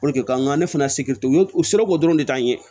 k'an ka ne fana u ye u sebɛn ko dɔrɔn de ta ɲɛ